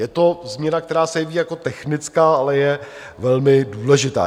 Je to změna, která se jeví jako technická, ale je velmi důležitá.